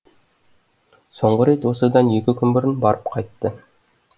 соңғы рет осыдан екі күн бұрын барып қайтты